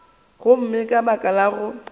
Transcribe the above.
gomme ka baka la go